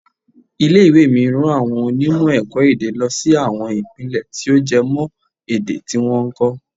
Ilé ìwé mi rán àwọn onímọ̀ ẹ̀kọ́-èdè lọ sí àwọn Ìpínlẹ̀ tí ó jẹ mọ́ èdè tí wọ́n ń kọ́.